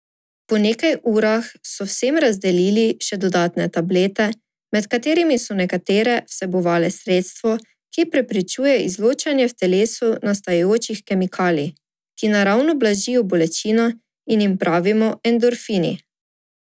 Po nekaj urah so vsem razdelili še dodatne tablete, med katerimi so nekatere vsebovale sredstvo, ki preprečuje izločanje v telesu nastajajočih kemikalij, ki naravno blažijo bolečino in jim pravimo endorfini.